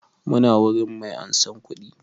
Muna wurin mai ansan kuɗi